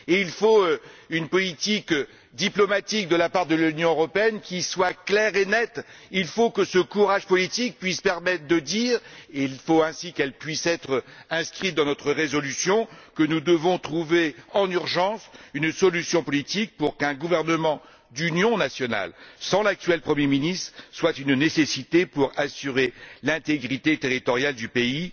De plus, il faut une politique diplomatique de la part de l'Union européenne qui soit claire et nette. Il faut que ce courage politique puisse nous permettre de dire et il faut l'inscrire dans notre résolution qu'il faut trouver en urgence une solution politique pour qu'un gouvernement d'union nationale, sans l'actuel premier ministre, soit une nécessité pour assurer l'intégrité territoriale du pays.